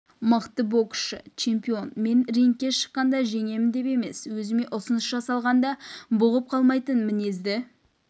мықты боксшы чемпион мен рингке шыққанда жеңемін деп емес өзіме ұсыныс жасағалғанда бұғып қалмайтын мінезді